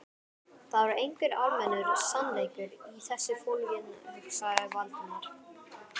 Það var einhver almennur sannleikur í þessu fólginn, hugsaði Valdimar.